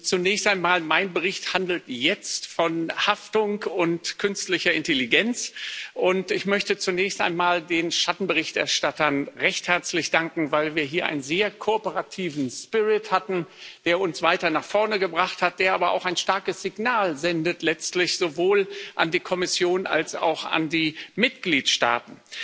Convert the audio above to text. Zunächst einmal handelt mein Bericht jetzt von Haftung und künstlicher Intelligenz, und ich möchte zunächst einmal den Schattenberichterstattern recht herzlich danken, weil wir hier einen sehr kooperativen hatten, der uns weiter nach vorne gebracht hat, der aber letztlich auch ein starkes Signal sendet, sowohl an die Kommission als auch an die Mitgliedsstaaten.